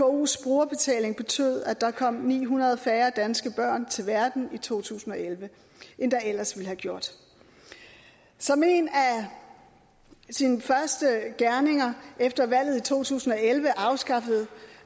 vkos brugerbetaling betød at der kom ni hundrede færre danske børn til verden i to tusind og elleve end der ellers ville have gjort som en af sine første gerninger efter valget i to tusind og elleve afskaffede